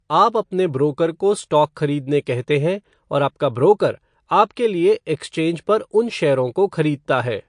आप अपने ब्रोकर को स्टॉक खरीदने कहते हैं और आपका ब्रोकर आपके लिए एक्सचेंज पर उन शेयरों को खरीदता है।